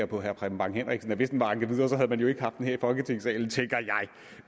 på herre preben bang henriksen at hvis den var anket videre havde man ikke haft den med her i folketingssalen